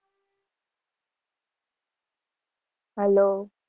hello